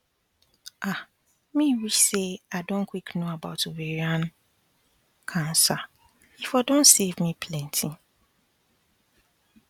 ah me wish say i don quick know about ovarian pause cancer e for don save me plenty